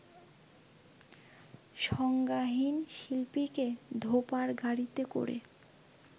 সংজ্ঞাহীন শিল্পীকে ধোপার গাড়িতে করে